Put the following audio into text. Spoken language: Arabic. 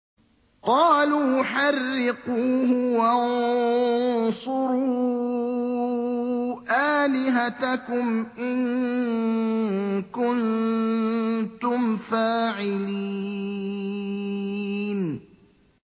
قَالُوا حَرِّقُوهُ وَانصُرُوا آلِهَتَكُمْ إِن كُنتُمْ فَاعِلِينَ